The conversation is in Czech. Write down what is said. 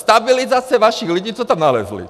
Stabilizace vašich lidí, co tam nalezli!